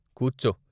కూర్చో .